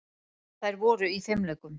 Þær voru í fimleikum.